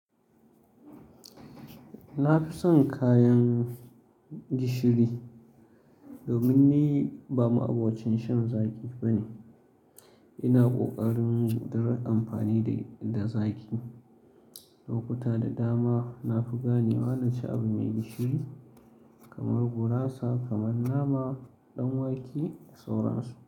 Na fi son kayan gishiri domin ni ba ma'abocin shan zaƙi bane. Ina ƙoƙarin gudar amfani da, da zaƙi. Lokuta da dama na fi ganewa na ci abu mai gishiri kamar gurasa, kaman nama, ɗanwake da sauransu.